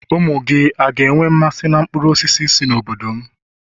umu-gi, ọ̀ga enwe mmasi n' nkpuru-osisi si n'obodom?